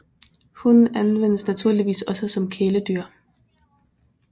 Hunden anvendes naturligvis også som kæledyr